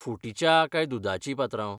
फुटी च्या काय दुदाची, पात्रांव?